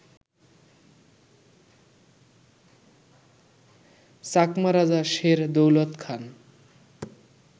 চাকমা রাজা শের দৌলত খান